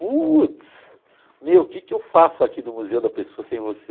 Putz, meu, que que eu faço aqui do Museu da Pessoa sem você?